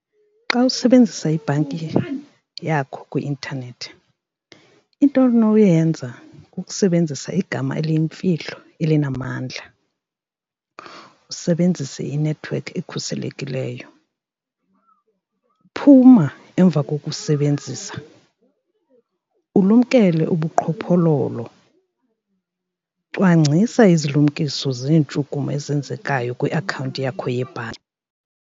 Xa usebenzisa ibhanki yakho kwi-intanethi into onoyenza kukusebenzisa igama eliyimfihlo elinamandla, usebenzise inethiwekhi ekhuselekileyo. Phuma emva kokusebenzisa ulumkele ubuqhophololo, cwangcisa izilumkiso zeentshukumo ezenzekayo kwiakhawunti yakho yebhanki.